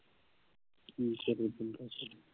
ਕੀ ਕਰੇ